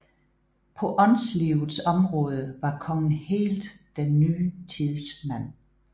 På åndslivets område var kongen helt den ny tids mand